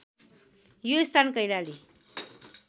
यो स्थान कैलाली